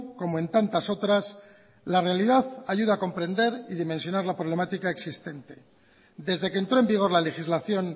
como en tantas otras la realidad ayuda a comprender y dimensionar la problemática existente desde que entro en vigor la legislación